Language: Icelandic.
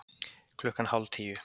Klukkan hálf tíu